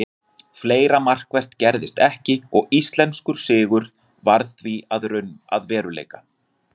Fleira markvert gerðist ekki og íslenskur sigur varð því að veruleika.